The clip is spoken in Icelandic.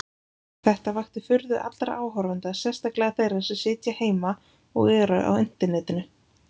Þetta vakti furðu allra áhorfenda, sérstaklega þeirra sem sitja heima og eru á internetinu.